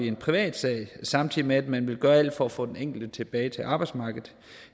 en privatsag samtidig med at man vil gøre alt for at få den enkelte tilbage til arbejdsmarkedet